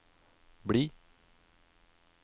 bli